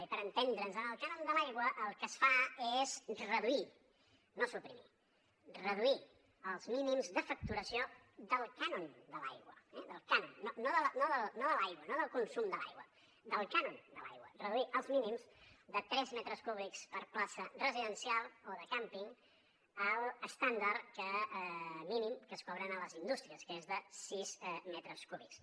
i per entendre’ns en el cànon de l’aigua el que es fa és reduir no suprimir reduir els mínims de facturació del cànoneh del cànon no de l’aigua no del consum de l’aigua del cànon de l’aigua reduir els mínims de tres metres cúbics per plaça residencial o de càmping a l’estàndard mínim que es cobra a les indústries que és de sis metres cúbics